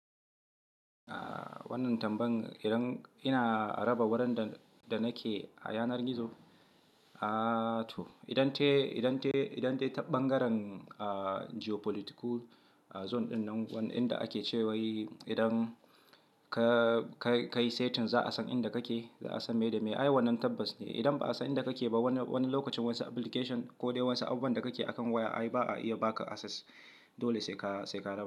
Ah, wannan tambayan idan ina raba wurin da nake a yanar gizo, ah to idan dai, idan dai, idan dai ta ɓangaren geopolitical zone ɗinnan inda ake cewa yi idan ka kai setin za a san inda kake, za a san me da me. Ai wannan tabbas ne. Idan ba a san inda kake ba wani lokacin wasu application ko dai wasu abun da kake akan waya ai ba a iya baka access. Dole sai ka, sai ka raba.